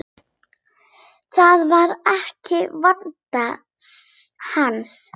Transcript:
Það var ekki vandi hans.